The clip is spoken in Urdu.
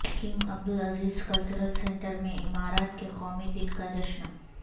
کنگ عبدالعزیز کلچرل سنٹر میں امارات کے قومی دن کاجشن